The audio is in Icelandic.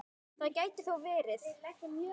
Það gæti þó verið.